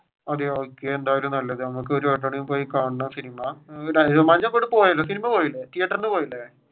അതെ okay cinema cinema പോയില്ലേ തിയേറ്ററിൽ നിന്ന് പോയില്ലേ.